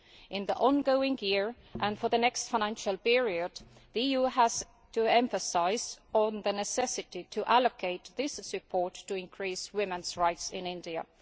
In the ongoing year and for the next financial period the EU has to put emphasis on the necessity to allocate this support to increase women's rights in India.